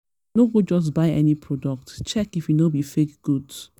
no go just buy any product; check if e no be fake goods.